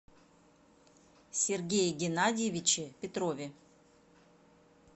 сергее геннадьевиче петрове